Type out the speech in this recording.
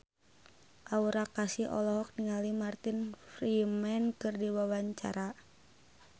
Aura Kasih olohok ningali Martin Freeman keur diwawancara